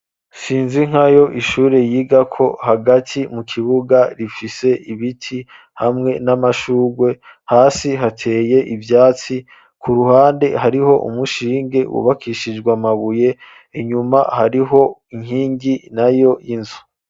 sinzi nkayo ishure yiga ko hagati mu kibuga rifise ibiti hamwe n'amashugwe hasi hateye ivyatsi ku ruhande hariho umushinge wubakishijw'amabuye inyuma hariho inkingi nayo y'inzu